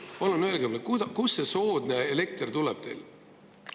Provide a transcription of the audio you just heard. Palun öelge mulle, kust see soodne elekter tuleb teil!